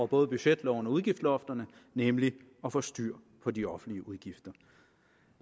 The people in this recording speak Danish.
både budgetloven og udgiftslofterne nemlig at få styr på de offentlige udgifter